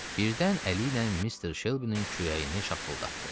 Birdən əli ilə Mister Shelby-nin kürəyini şappıldatdı.